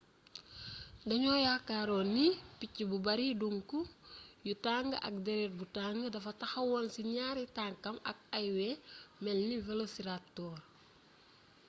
dañoo yaakaaroon ni picc bu bari duŋk yu tàng ak déret bu tàng dafa taxawoon ci ñaari tankam ak ay wey melni velociraptor